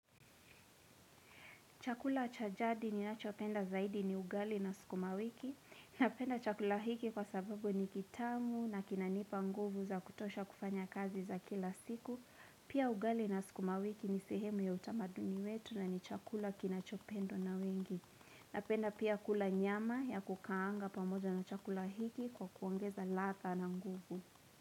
Chakula chajadi ni nachopenda zaidi ni ugali na skuma wiki. Napenda chakula hiki kwa sababu ni kitamu na kinanipa nguvu za kutosha kufanya kazi za kila siku. Pia ugali na skuma wiki ni sehemu ya utamaduni wetu na ni chakula kinachopendwa na wengi. Napenda pia kula nyama ya kukaanga pamoja na chakula hiki kwa kuongeza ladha na nguvu.